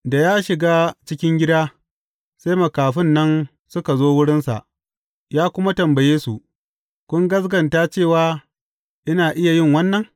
Da ya shiga cikin gida, sai makafin nan suka zo wurinsa, ya kuma tambaye su, Kun gaskata cewa ina iya yin wannan?